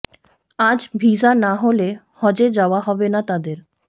আজ ভিসা না হলে হজে যাওয়া হবে না তাদের